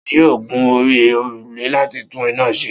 Ta ni yóò gun orí òrùlé láti tún iná se?